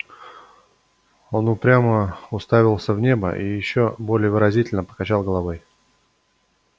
он упрямо уставился в небо и ещё более выразительно покачал головой